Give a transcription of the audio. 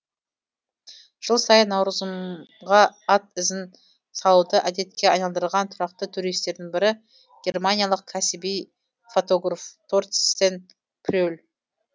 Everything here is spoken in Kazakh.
жыл сайын наурызымға ат ізін салуды әдетке айналдырған тұрақты туристердің бірі германиялық кәсіби фотограф торстен пре л